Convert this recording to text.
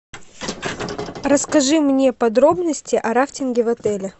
расскажи мне подробности о рафтинге в отеле